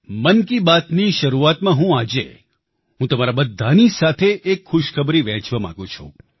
મન કી બાતની શરૂઆતમાં હું આજે હું તમારી બધાની સાથે એક ખુશખબરી વહેંચવા માંગુ છું